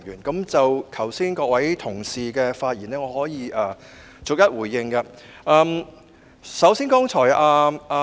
剛才各位同事的發言，我可以逐一回應。